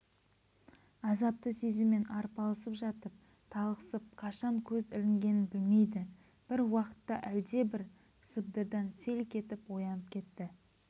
азапты сезіммен арпалысып жатып талықсып қашан көз ілінгенін білмейді бір уақытта әлдебір сыбдырдан селк етіп оянып кетті